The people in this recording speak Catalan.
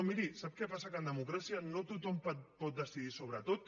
miri sap què passa que en democràcia no tothom pot decidir sobre tot